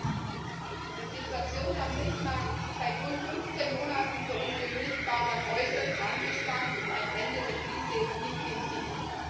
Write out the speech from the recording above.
Frau Präsidentin! Die Situation am Milchmarkt ist seit rund 15 Monaten für unsere Milchbauern äußerst angespannt und ein Ende der Krise ist nicht in Sicht!